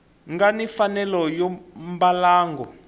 nga ni mfanelo ya mbalango